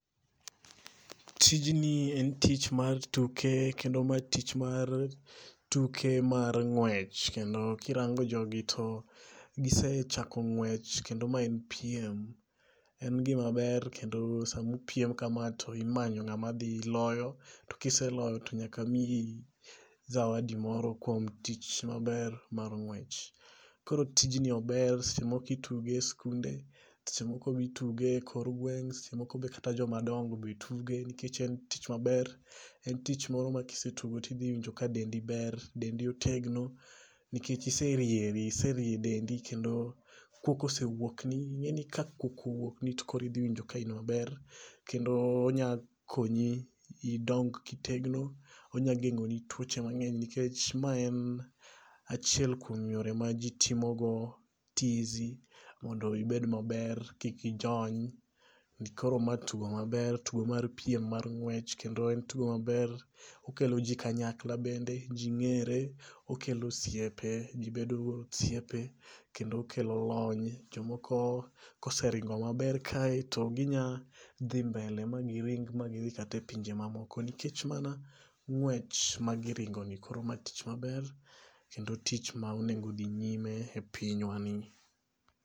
Tijni en tich mar tuke kendo ma tich mar tuke mar ng'wech. kendo kirango jogi to gisechako ng'wech. Kendo ma en piem. En gima ber. Kendo samupiem kamae to imanyo ng'ama dhi loyo. To kiseloyo to nyaka miyi zawadi moro kuom tich maber mar ng'wech. Koro tijni ober. Seche moko ituge e skunde. Seche moko be ituge e kor gweng'. Seche moko be kata jomadongo be tuge. Nikech e tich maber. En tich moro ma kisetugo tidhi winjo ka dendi ber. Dendi otegno nikech iserieri. Iserie dendi. Kendo kuok osewuok ni. Ing'eni ka kuok owuok ni to koro idhi winjo ka in maber. Kendo ing'eni ka kuok owuok ni to koro idhi winjo ka in maber. Kendo onya konyi idong kitedno. Onya geng'oni tuoche mang'eny. Nikech ma en achiel kuom yore ma ji timogo tizi mondo ibed maber, kik ijony. Koro ma tugo maber. Tugo mar piem mar ng'wech. Kendo en tugo maber. Okelo ji kanyakla bende. Ji ng'ere. Okelo osiepe. Ji bedo osiepe. Kendo okelo lony. Jomoko koseringo maber kae to gi nya dhi mbele ma giring ma gidhi kata e pinje mamoko nikech mana ng'wech ma giringo ni. Koro ma tich maber kendo tich ma onengo dhi nyime e pinywa ni.